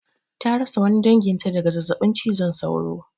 Ta rasa wani danginta daga zazzabin cizon sauro.